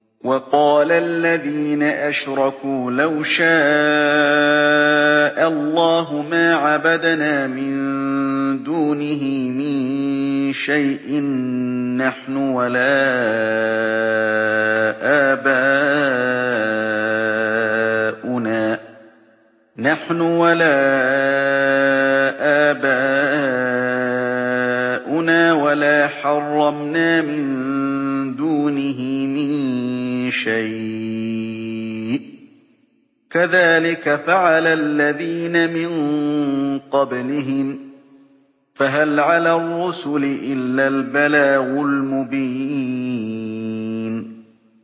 وَقَالَ الَّذِينَ أَشْرَكُوا لَوْ شَاءَ اللَّهُ مَا عَبَدْنَا مِن دُونِهِ مِن شَيْءٍ نَّحْنُ وَلَا آبَاؤُنَا وَلَا حَرَّمْنَا مِن دُونِهِ مِن شَيْءٍ ۚ كَذَٰلِكَ فَعَلَ الَّذِينَ مِن قَبْلِهِمْ ۚ فَهَلْ عَلَى الرُّسُلِ إِلَّا الْبَلَاغُ الْمُبِينُ